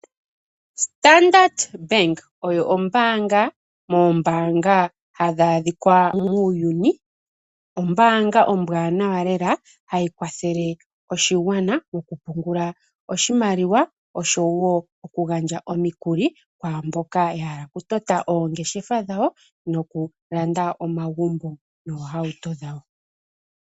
Standard Bank. Oyo ombaanga moombaanga ha dhi adhikwa muuyuni. Ombaanga ombwaanawa lela. ha yi kwathele oshigwana moku pungula oshimaliwa osho woo oku gandja omikuli kwaamboka ya hala oku okutota oongeshefa dhawo osho woo okulanda omagumbo noohauto dhawo.